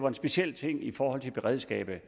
en speciel ting i forhold til beredskabet